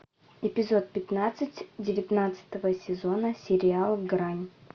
эпизод пятнадцать девятнадцатого сезона сериал грань